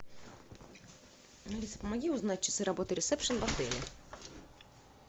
алиса помоги узнать часы работы ресепшн в отеле